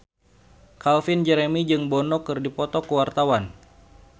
Calvin Jeremy jeung Bono keur dipoto ku wartawan